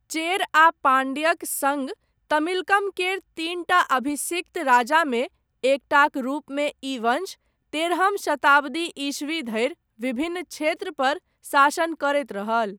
चेर आ पाण्ड्यक सङ्ग तमिलकम केर तीनटा अभिसिक्त राजामे, एकटाक रूपमे ई वंश, तेरहम शताब्दी ईस्वी धरि विभिन्न क्षेत्रपर शासन करैत रहल।